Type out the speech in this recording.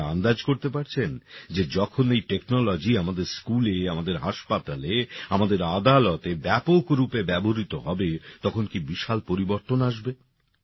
আপনারা আন্দাজ করতে পারছেন যে যখন এই টেকনোলজি আমাদের স্কুলে আমাদের হাসপাতালে আমাদের আদালতে ব্যাপক রুপে ব্যবহৃত হবে তখন কী বিশাল পরিবর্তন আসবে